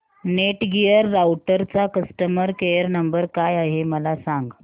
Netgear राउटरचा customer care number काय आहे मला सांग